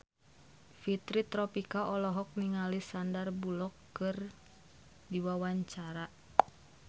Fitri Tropika olohok ningali Sandar Bullock keur diwawancara